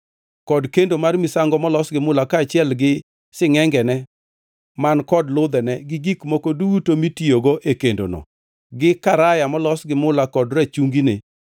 kod kendo mar misango molos gi mula kaachiel gi singʼengene man kod ludhene, gi gik moko duto mitiyogo e kendono; gi karaya molos gi mula, kod rachungine;